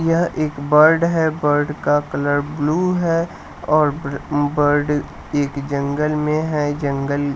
यह एक बर्ड है बर्ड का कलर ब्लू है और बर्ड एक जंगल में है जंगल--